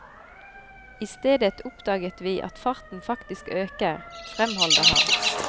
I stedet oppdaget vi at farten faktisk øker, fremholder han.